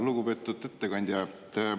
Lugupeetud ettekandja!